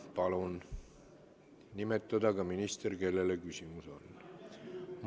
Palun nimetada ka minister, kellele küsimus mõeldud on.